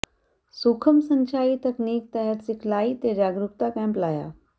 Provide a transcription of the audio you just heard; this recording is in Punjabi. ਸੂਖਮ ਸਿੰਚਾਈ ਤਕਨੀਕ ਤਹਿਤ ਸਿਖਲਾਈ ਤੇ ਜਾਗਰੂਕਤਾ ਕੈਂਪ ਲਾਇਆ